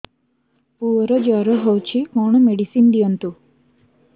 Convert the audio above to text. ପୁଅର ଜର ହଉଛି କଣ ମେଡିସିନ ଦିଅନ୍ତୁ